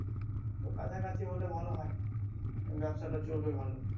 তো কাছাকাছি হলে ভালো হয় ব্যবসাটা চলবে ভালো